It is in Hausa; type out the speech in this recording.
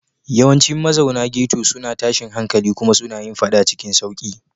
Yawancin mazauna ghetto suna tashin hankali kuma suna yin faɗa cikin sauƙi.